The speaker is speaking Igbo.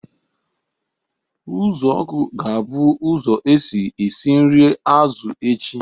Uzuoku ga-abụ ụzọ esi esi nri azụ echi